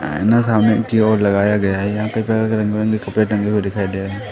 आईना सामने की ओर लगाया गया है यहां पे तरह तरह के कपड़े टंगे दिखाई दे रहे--